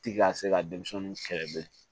Ti ka se ka denmisɛnninw kɛlɛ bilen